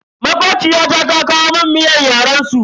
Makociyata ta kawo mun miyar yaren su.